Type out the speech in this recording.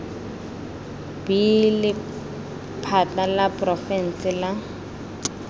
b lephata la porofense la